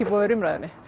í umræðunni